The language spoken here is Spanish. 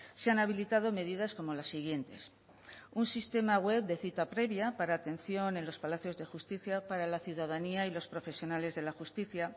se han habilitado medidas como las siguientes un sistema web de cita previa para atención en los palacios de justicia para la ciudadanía y los profesionales de la justicia